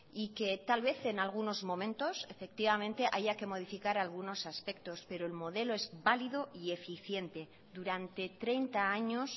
y que tal vez en algunos momentos efectivamente haya que modificar algunos aspectos pero el modelo es válido y eficiente durante treinta años